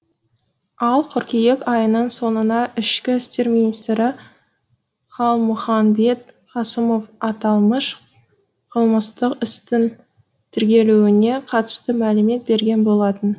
ал қыркүйек айының соңына ішкі істер министрі қалмұханбет қасымов аталмыш қылмыстық істің тергелуіне қатысты мәлімет берген болатын